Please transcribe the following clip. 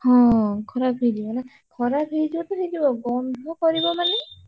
ହଁ ଖରାପ ହେଇଯିବ ନା ଖରାପ ହେଇଯିବ ତ ହେଇଯିବ ଗନ୍ଧ କରିବ ମାନେ।